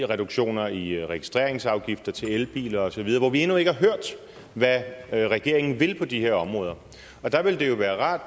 reduktioner i registreringsafgifter til elbiler osv hvor vi endnu ikke har hørt hvad regeringen vil på de her områder der ville det jo være rart